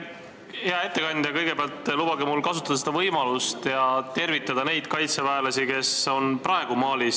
Hea ettekandja, kõigepealt lubage mul kasutada seda võimalust ja tervitada neid kaitseväelasi, kes on praegu Malis.